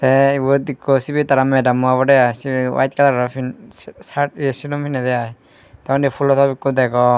tey ibot ikko sibey tara madammo obodey i sey wayit kalaror pi sa saat silum pinnedey i tey undi fulo top ikko degong.